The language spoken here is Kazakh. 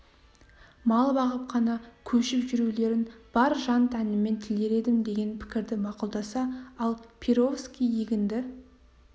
мал бағып қана көшіп жүрулерін бар жан-тәніммен тілер едім деген пікірді мақұлдаса ал перовский егінді